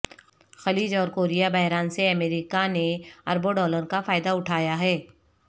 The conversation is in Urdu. خلیج اور کوریا بحران سے امریکہ نے اربوں ڈالر کا فائدہ اٹھایا ہے